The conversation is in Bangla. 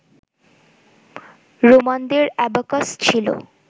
রোমানদের অ্যাবাকাস ছিল